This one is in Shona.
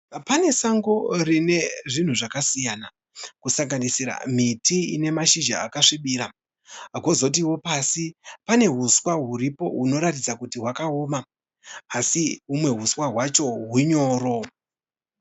Pane sango rine zvinhu zvakasiyana kusanganisira miti ine mashizha akasvibira. Kwozotiwo pasi pane huswa huripo hunoratidza kuti hwakaoma asi humwe uswa hwacho hunyoro.